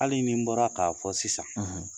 Hali ni n bɔra k'a fɔ sisan